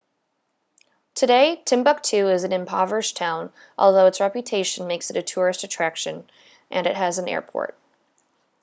today timbuktu is an impoverished town although its reputation makes it a tourist attraction and it has an airport